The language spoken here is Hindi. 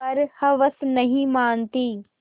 पर हवस नहीं मानती